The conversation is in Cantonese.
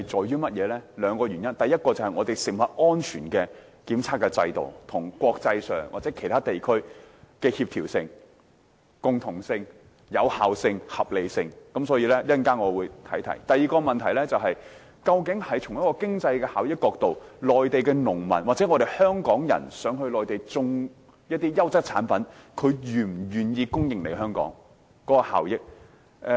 有兩個原因：第一，這涉及香港食物安全檢測制度與國際或其他地區的協調性、共同性、有效性及合理性，我稍後會提及；第二個問題，從經濟效益的角度而言，內地農民或到內地種植優質產品的香港人，是否願意給香港供應產品，供港是否具效益。